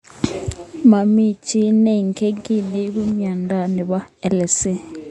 Mami chii ne ingen kii neipu mionitok nebo ALS.